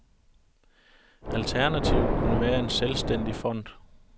Alternativet kunne være en selvstændig fond.